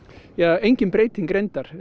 engin breyting reyndar